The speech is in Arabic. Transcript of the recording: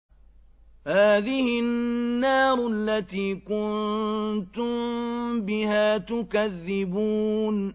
هَٰذِهِ النَّارُ الَّتِي كُنتُم بِهَا تُكَذِّبُونَ